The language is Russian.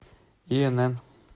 инн